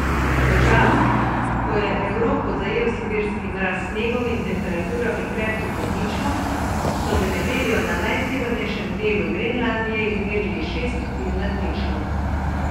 V času, ko je Evropo zajel sibirski mraz s snegom in temperaturami krepko pod ničlo, so v nedeljo na najsevernejšem delu Grenlandije izmerili šest stopinj nad ničlo.